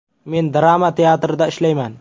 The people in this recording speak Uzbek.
Men drama teatrida ishlayman.